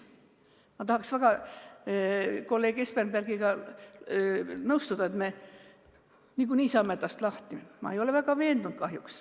Ma tahaksin väga kolleeg Espenbergiga nõustuda, et me niikuinii saame tast lahti, aga ma kahjuks ei ole selles väga veendunud.